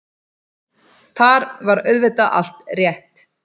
Þar var auðvitað allt rétt.